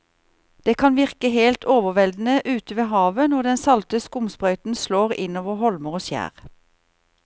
Det kan virke helt overveldende ute ved havet når den salte skumsprøyten slår innover holmer og skjær.